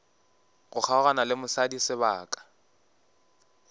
go kgaogana le mosadi sebaka